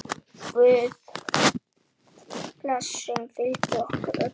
Guðs blessun fylgi ykkur öllum.